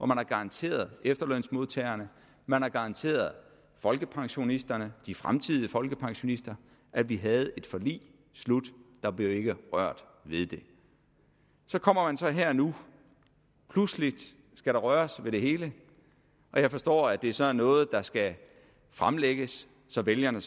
man har garanteret efterlønsmodtagerne man har garanteret folkepensionisterne de fremtidige folkepensionister at vi havde et forlig slut der blev ikke rørt ved det så kommer man så her nu og pludselig skal der røres ved det hele og jeg forstår at det så er noget der skal fremlægges så vælgerne